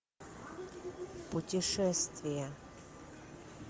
путешествие